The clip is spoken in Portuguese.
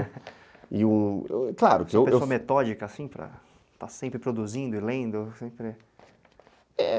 Você é uma pessoa metódica, assim, para estar sempre produzindo e lendo?